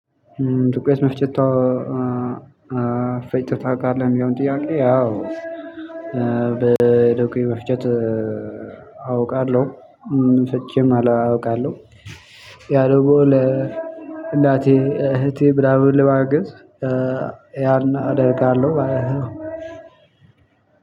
ዱቄት መፍጨት ፈጨታ አይደለም ያው ጥያቄ ያው መፍጨት አውቃለሁ ፍቺም አላውቃለሁ ያለው ለእናቴ እህቴ ምናምን ለማገዝ ያን አደርጋለሁ ማለት ነው።